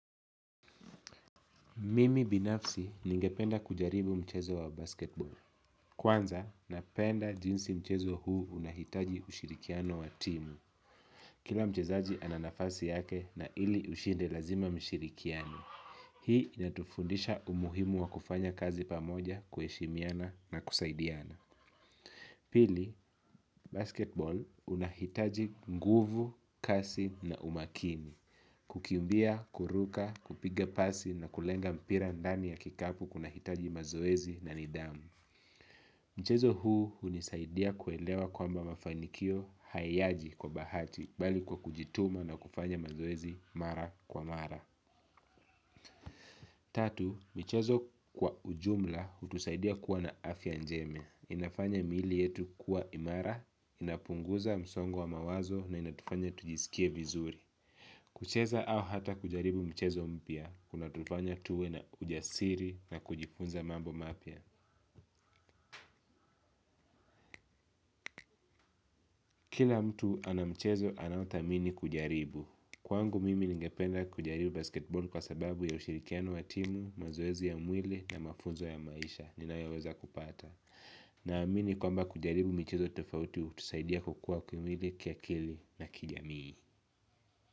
Mimi binafsi ningependa kujaribu mchezo wa basiketi boli kwanza, napenda jinsi mchezo huu unahitaji ushirikiano wa timu. Kila mchezaji ana nafasi yake na ili ushinde lazima mshirikiane. Hii inatufundisha umuhimu wa kufanya kazi pamoja kuheshimiana na kusaidiana. Pili. Basiketi boli unahitaji nguvu, kasi, na umakini kukimbia, kuruka, kupiga pasi na kulenga mpira ndani ya kikapu kuna hitaji mazoezi na nidhamu mchezo huu hunisaidia kuelewa kwamba mafanikio hayaji kwa bahati bali kwa kujituma na kufanya mazoezi mara kwa mara tatu, michezo kwa ujumla hutusaidia kuwa na afya njema, inafanya miili yetu kuwa imara, inapunguza msongo wa mawazo na inatufanya tujisikie vizuri kucheza au hata kujaribu mchezo mpya, kuna tufanya tuwe na ujasiri na kujifunza mambo mapya kila mtu anamchezo anao thamini kujaribu kwangu mimi ningependa kujaribu basketball kwa sababu ya ushirikiano wa timu, mazoezi ya mwili na mafunzo ya maisha ninayoweweza kupata na amini kwamba kujaribu michezo tofauti hutusaidia kukua kimwili kiakili na kijamii.